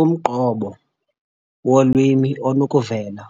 Umqobo wolwimi onokuvela